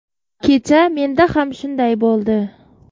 Kecha menda ham shunday bo‘ldi.